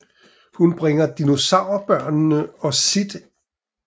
Hun bringer dinosaur børnene og Sid ind i hulen